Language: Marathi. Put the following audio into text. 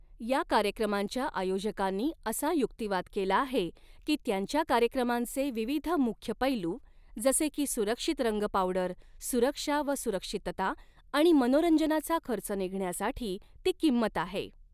या कार्यक्रमांच्या आयोजकांनी असा युक्तिवाद केला आहे की, त्यांच्या कार्यक्रमांचे विविध मुख्य पैलू, जसे की सुरक्षित रंग पावडर, सुरक्षा व सुरक्षितता आणि मनोरंजनाचा खर्च निघण्यासाठी ती किंमत आहे.